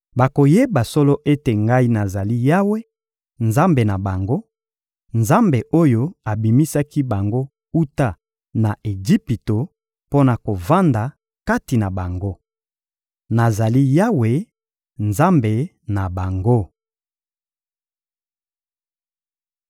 Bakoyeba solo ete Ngai nazali Yawe, Nzambe na bango, Nzambe oyo abimisaki bango wuta na Ejipito mpo na kovanda kati na bango. Nazali Yawe, Nzambe na bango.